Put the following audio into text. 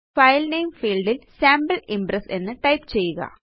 file name field ല് sample Impressഎന്ന് type ചെയ്യുക